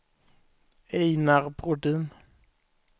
Ejnar Brodin